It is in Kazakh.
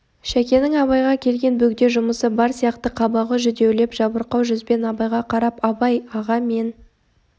шәкенің абайға келген бөгде жұмысы бар сияқты қабағы жүдеулеп жабырқау жүзбен абайға қарап абай аға мен